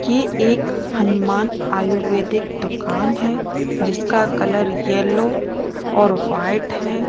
ये एक हनुमान आयुर्वेदिक दुकान है जिसका कलर येलो और वाइट है।